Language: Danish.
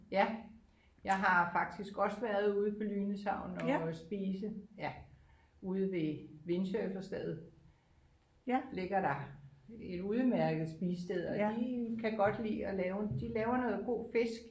Ja jeg har faktisk også været ude på Lynæs havn og spise ude ved vindsurfersted ligger der et udmærket spisested og de kan godt lide at lave de laver noget god fisk